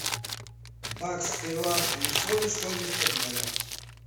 бакс к перуанскому солю стоимость обмена